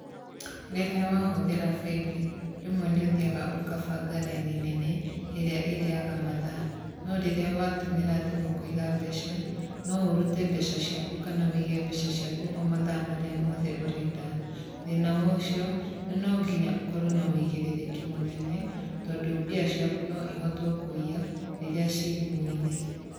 Rĩrĩa wahũthĩra bengi rĩmwe nĩ ũthiaga ũkabanga raini nene ĩrĩa ĩrĩaga mathaa, no rĩrĩa watũmĩra thimũ kwiga mbeca no ũrute mbeca ciaku kana wĩige mbeca ciaku o mathaa marĩa mothe ũrenda thĩna wocio nonginya ũkorwo na ũigĩrĩrĩki mũnene tondũ mbia ciaku noihotwo kũiya rĩrĩa ci thimũ-inĩ.